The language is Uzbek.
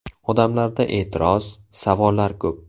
Odamlarda e’tiroz, savollar ko‘p.